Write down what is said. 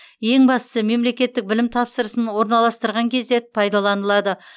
ең бастысы мемлекеттік білім тапсырысын орналастырған кезде пайдаланылады